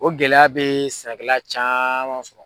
O gɛlɛya be sɛnɛkɛla caaman sɔrɔ